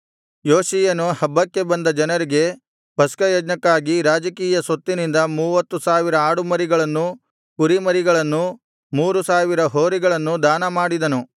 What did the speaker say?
ಯೋಷೀಯನು ಹಬ್ಬಕ್ಕೆ ಬಂದ ಜನರಿಗೆ ಪಸ್ಕಯಜ್ಞಕ್ಕಾಗಿ ರಾಜಕೀಯ ಸೊತ್ತಿನಿಂದ ಮೂವತ್ತು ಸಾವಿರ ಆಡುಮರಿಗಳನ್ನೂ ಕುರಿಮರಿಗಳನ್ನೂ ಮೂರು ಸಾವಿರ ಹೋರಿಗಳನ್ನೂ ದಾನಮಾಡಿದನು